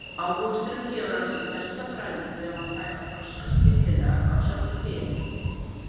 Ávöxturinn gefur af sér besta bragðið ef hann fær að þroskast fyllilega á sjálfu trénu.